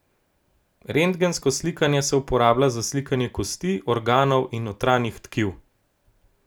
Rentgensko slikanje se uporablja za slikanje kosti, organov in notranjih tkiv.